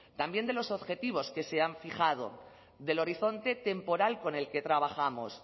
también de los objetivos que se han fijado del horizonte temporal con el que trabajamos